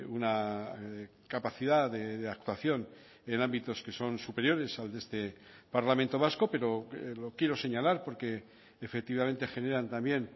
una capacidad de actuación en ámbitos que son superiores al de este parlamento vasco pero lo quiero señalar porque efectivamente generan también